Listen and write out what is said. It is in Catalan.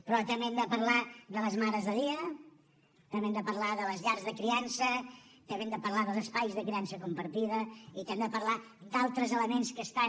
però també hem de parlar de les mares de dia també hem de parlar de les llars de criança també hem de parlar dels espais de criança compartida i també hem de parlar d’altres elements que estan